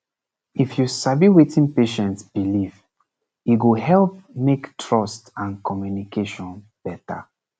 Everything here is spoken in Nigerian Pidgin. if you sabi wetin patient believe e go help make trust and communication better